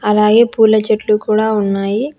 అలాగే పూల చెట్లు కూడా ఉన్నాయి.